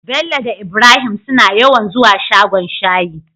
bello da ibrahim suna yawan zuwa shagon shayi